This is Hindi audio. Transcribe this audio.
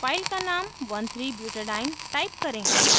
file का name 13butadiene type करें